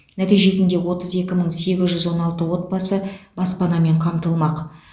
нәтижесінде отыз екі мың сегіз жүз он алты отбасы баспанамен қамтылмақ